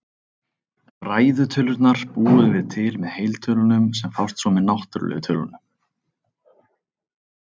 Ræðu tölurnar búum við til með heiltölunum, sem fást svo með náttúrlegu tölunum.